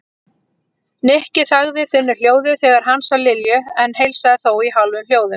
Nikki þagði þunnu hljóði þegar hann sá Lilju en heilsaði þó í hálfum hljóðum.